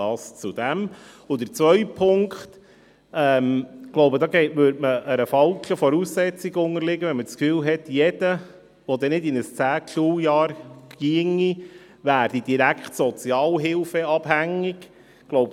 Ein zweiter Punkt: Es wäre falsch, davon auszugehen, dass jeder, der kein 10. Schuljahr besuchen kann, direkt sozialhilfeabhängig wird.